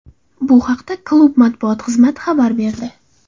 Bu haqda klub matbuot xizmati xabar berdi .